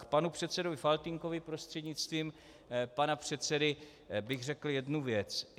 K panu předsedovi Faltýnkovi prostřednictvím pana předsedy bych řekl jednu věc.